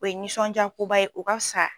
O ye nisɔnjakoba ye o ka fisa